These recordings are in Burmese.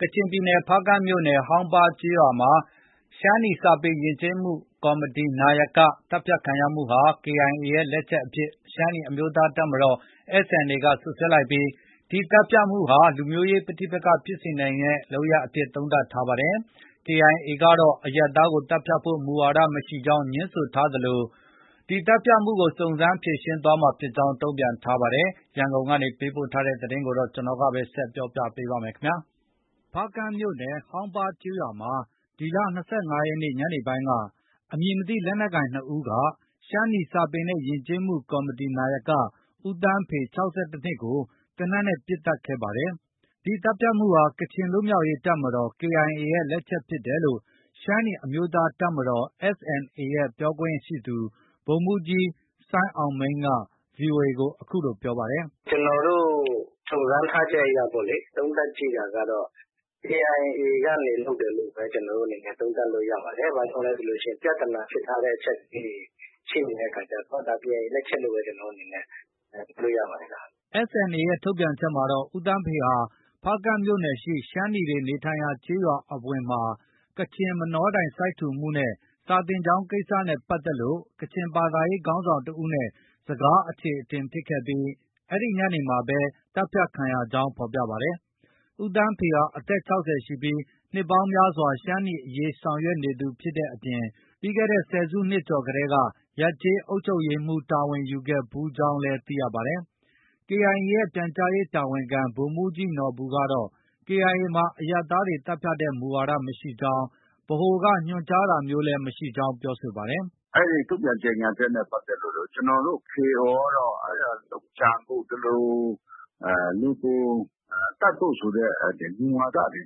ကချင်ပြည်နယ် ဖားကန့်မြို့နယ် ဟောင်ပါးကျေးရွာမှ ရှမ်းနီ စာပေနဲ့ ယဉ်ကျေးမှုကော်မတီ နာယက သတ်ဖြတ်ခံရမှုဟာ KIA လက်ချက်အဖြစ် ရှမ်းနီ အမျိုးသားတပ်မတော် SNA က စွပ်စွဲလိုက်ပါတယ်။ KIA ကတော့ အရပ်သားကို သတ်ဖြတ်ဖို့ မူဝါဒမရှိကြောင်း ငြင်းဆိုထားသလို ဒီသတ်ဖြတ်ကို စုံစမ်းဖြေရှင်းသွားမှာ ဖြစ်ကြောင်း တုံပြန်ထားပါတယ်။ ရန်ကုန်ကပေးပို့တဲ့ သတင်းကို ကိုဇော်မိုးကျော် ပြောပြပေးမှာပါ။ ဖားကန့်မြို့နယ် ဟောင်ပါးကျေးရွာမှာ ဇွန်လ ၂၅ရက်နေ့ ညနေပိုင်းက အမည်မသိ လက်နက်ကိုင် ၂ဦးက ရှမ်းနီ စာပေနဲ့ ယဉ်ကျေးမှုကော်မတီ နာယက ဦးသန်းဖေ (၆၁နှစ်)ကို သေနတ်နဲ့ ပစ်ခတ် သတ်ဖြတ်ခဲ့ပါတယ်။ ဒီသတ်ဖြတ်မှုဟာ ကချင်လွတ်မြောက်ရေးတပ်မတော် KIA လက်ချက်ဖြစ်တယ်လို့ ရှမ်းနီ အမျိုးသား တပ်မတော် SNAရဲ့ ပြောရေးဆိုခွင့်ရှိသူ ဗိုလ်မှူးကြီး စိုင်းအောင်မိန်းက VOA ကို အခုလို ပြောပါတယ်။ “ ကျနော်တို့ စုံစမ်းထားချက်အရ သုံးသပ်ကြည့်တာကတော့ KIA ကနေပဲ လုပ်တယ်လို့ ကျနော်တို့အနေနဲ့ သုံးသပ်လို့ ရပါတယ်။ ဘာကြောင့်လဲဆိုရင် ပြဿနာဖြစ်ထားတဲ့အချက်လေးတွေ ရှိနေတဲ့အခါကျတော့ KIA လက်ချက်အဖြစ်ပဲ ကျနော်တို့ယူလို့ ရပါတယ်ခင်ဗျ။ ” SNA ရဲ့ ထုတ်ပြန်ချက်ထဲမှာတော့ ဦးသန်းဖေဟာ ဖားကန့်မြို့နယ်ရှိ ရှမ်းနီတွေ နေထိုင်ရာကျေးရွာအဝင်မှာ ကချင်မနောတိုင် စိုက်ထူမှုနဲ့ စာသင်ကျောင်း ကိစ္စတွေနဲ့ ပတ်သက်လို့ ကချင် ဘာသာရေး ခေါင်းဆောင်တဦးနဲ့ စကားအချေအတင်ဖြစ်ခဲ့ပြီး အဲဒီ ညနေမှာပဲ သတ်ဖြတ်ခံရကြောင်း ဖော်ပြပါတယ်။ ဦးသန်းဖေဟာ အသက် ၆၀ ရှိပြီး နှစ်ပေါင်းများစွာ ရှမ်းနီ အရေး ဆောင်ရွက်နေသူဖြစ်တဲ့အပြင် ပြီးခဲ့တဲ့ ဆယ်စုနှစ်ကျော်ကတည်းက ရပ်ကျေးအုပ်ချုပ်ရေးမှူး တာဝန်ယူခဲ့ဖူးကြောင်းလည်း သိရပါတယ်။ KIA ရဲ့ ပြန်ကြားရေးတာဝန်ခံ ဗိုလ်မှူးကြီး နော်ဘူကတော့ KIA မှာ အရပ်သားတွေ သတ်ဖြတ်တဲ့ မူဝါဒ မရှိကြောင်း ဗဟိုက ညွှန်ကြားတာမျိုးလည်းမရှိကြောင်း ပြောပါတယ်။ “ အဲဒီ ထုတ်ပြန်ကြေညာချက်နဲ့ ပတ်သက်လို့တော့ ကျနော်တို့ KIO ကတော့ လုပ်ကြံဖို့၊ လူကို သတ်ဖို့ဆိုတဲ့ မူဝါဒတွေ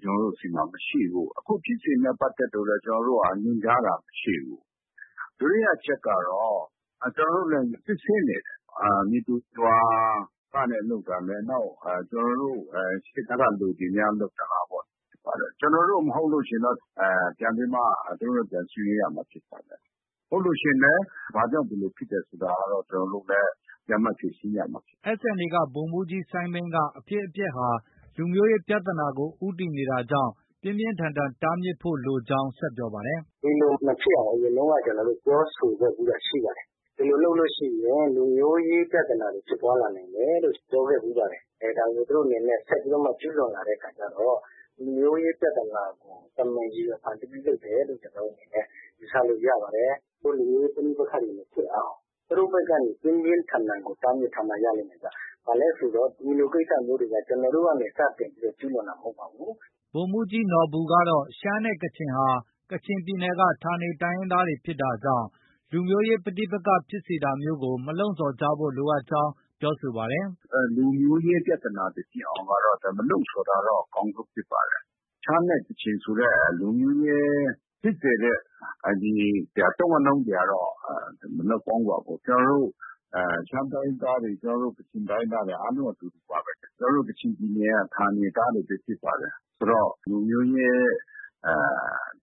မရှိဘူး။ အခုဖြစ်စဉ်နဲ့ ပတ်သက်လို့လည်း ကျနော်တို့ညွှန်ကြားတာ မရှိဘူး။ ဒုတိယအချက်ကတော့ ကျနော်တို့လည်း စစ်ဆေးနေတယ်။ မည်သူ မည်ဝါကနေ လုပ်တာလဲ။ နောက် ကျနော်တို့ ရှေ့တန်းက လူတွေများ လုပ်သလားပေါ့။ ကျနော်တို့ မဟုတ်လို့ရှိရင် ကျနော်တို့ သူတို့နဲ့ ပြန်ဆွေးနွေးရမှာဖြစ်ပါတယ်။ ဟုတ်လို့ရှိရင်ဘာကြောင့် ဒီလိုဖြစ်တယ်ဆိုတာ ကျနော်တို့လည်း ပြန်ပြီး ဖြေရှင်းရမှာဖြစ်ပါတယ်။” SNAက ဗိုလ်မှုးကြီး စိုင်းအောင်မိန်းက ဒီအဖြစ်အပျက်ဟာ လူမျိုးရေးပြဿနာကို ဦးတည်နေတာကြောင့် ပြင်းပြင်းထန်ထန် တားမြစ်ထားဖို့ လိုကြောင်း ဆက်ပြောပါတယ်။ “ ဒီလို မဖြစ်အောင် အရင်တုံးက ကျနော်တို့ ပြောဆိုခဲ့ဖူးတာရှိပါတယ်။ ဒီလိုလုပ်ရင် လူမျိုးရေး ပြဿနာတွေ ဖြစ်ပွားလာနိုင်တယ်လို့ ပြောခဲ့ဖူးပါတယ်။ ဒါကို သူတို့အနေနဲ့ ဆက်ပြီးတော့မှ ကျူးလွန်လာတဲ့အခါကျတော့ လူမျိုးရေး ပြဿနာကို တမင်ဖန်တီးပြီး လုပ်တယ်လို့ ကျနော်တို့အနေနဲ့ ယူဆလို့ ရပါတယ်။ လူမျိုးရေး ပဋိပက္ခတွေ မဖြစ်အောင် သူတို့ဘက်ကနေ ပြင်းပြင်းထန်ထန်ကို တားမြစ်ထားမှ ရလိမ့်မယ်ဗျ။ ဒီလိုကိစ္စတွေက ကျနော်တို့ကနေ စတင်ပြီး ကျူးလွန်တာမဟုတ်ပါဘူး။ ” ဗိုလ်မှူးကြီး နော်ဘူကတော့ ရှမ်းနဲ့ကချင်ဟာ ကချင်ပြည်နယ်က ဌာနေတိုင်းရင်းသားတွေ ဖြစ်တာကြောင့် လူမျိုးရေး ပဋိပက္ခဖြစ်စေတာမျိုးကို မလှုံ့ဆော်ကြဖို့ လိုအပ်ကြောင်းလည်း ပြောပါတယ်။ “ လူမျိုးရေး ပြဿနာတွေ ဖြစ်အောင်တော့ မလှုံ့ဆော်တာ အကောင်းဆုံးဖြစ်ပါတယ်။ ရှမ်းနဲ့ ကချင်ဆိုတဲ့ လူမျိုးရေးဖြစ်စေတဲ့ အသုံးအနှုန်းတွေကတော့ မလုပ်ကောင်းပါဘူး။ ကျနော်တို့ ရှမ်းတိုင်းရင်းသားတွေ၊ ကချင်တိုင်းရင်းသားတွေ အားလုံး အတူတူပါပဲ။ ကျနော်တို့ ကချင်ပြည်နယ်က ဌာနေသားတွေပဲ ဖြစ်ပါတယ်။ ဆိုတော့ လူမျိုးရေး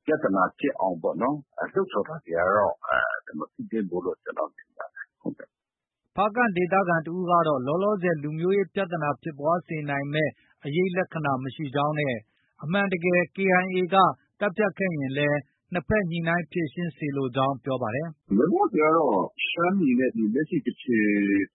ပြဿနာဖြစ်အောင်ပေါ့နော် လှုံ့ဆော်တာတွေကတော့ မဖြစ်သင့်ဘူးလို့ ကျနော် ထင်ပါတယ်။” ဖားကန့်ဒေသခံတစ်ဦးကတော့ လောလောဆယ် လူမျိုးရေးပြဿနာ ဖြစ်ပွားစေနိုင်မယ့် အရိပ်လက္ခဏာ မရှိကြောင်းနဲ့ အမှန်တကယ် KIA က သတ်ဖြတ်ခဲ့ရင်လည်း နှစ်ဘက်ညှိနှိုင်း ဖြေရှင်းစေလိုကြောင်း ပြောပါတယ်။ “ လောလောဆည်ကတော့ ရှမ်းနီနဲ့ လက်ရှိ ကချင်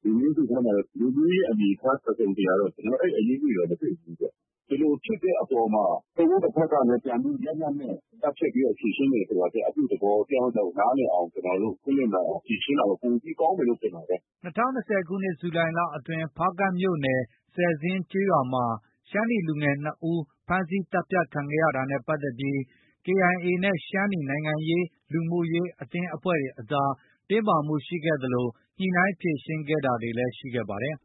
လူမျိုးစုထဲမှာတော့ လူမျိုးရေးအနေအထား တစ်စုံတစ်ရာတော့ အဲဒီ အရိပ်အငွေ့တွေတော့ မတွေ့ဘူးပေါ့။ ဒီလိုဖြစ်တဲ့အပေါ်မှာ တစ်ဦးတစ်ဖွဲ့ကလည်း ပြန်ပြီး လက်နက်နဲ့ သတ်ဖြတ်ပြီး ဖြေရှင်းတယ်ဆိုတာထက် အပြုသဘော တစ်ယောက်နဲ့ တစ်ယောက် နားလည်အောင် ခွင့်လွှတ်နိုင်အောင်ဖြေရှင်းတာတော့ ပိုပြီး ကောင်းတယ်လို့ ထင်ပါတယ်။ ” ၂၀၂၀ခုနှစ် ဇူလိုင်လအတွင်းကလည်း ဖားကန့်မြို့နယ် ဆယ်ဇင်းကျေးရွာမှာ ရှမ်းနီလူငယ်နှစ်ဦး ဖမ်းဆီးသတ်ဖြတ်ခံခဲ့တာနဲ့ပတ်သက်ပြီး KIA နဲ့ ရှမ်းနီ နိုင်ငံရေး၊ လူမှုရေးအသင်းအဖွဲ့တွေအကြား တင်းမာမှုရှိခဲ့သလို ညှိနှိုင်း ဖြေရှင်းခဲ့တာတွေလည်း ရှိခဲ့ပါတယ်။